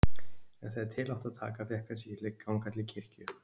En þegar til átti að taka fékk hann sig ekki til að ganga til kirkju.